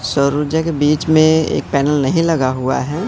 सौर ऊर्जा के बीच में एक पैनल नहीं लगा हुआ है।